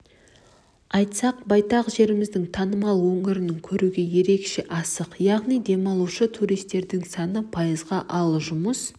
айтсақ байтақ жеріміздің танымал өңірінің көруге ерекше асық яғни демалушы туристердің саны пайызға ал жұмыс